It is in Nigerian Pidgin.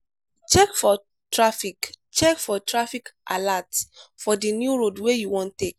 check for traffic check for traffic alert for di new road wey you wan take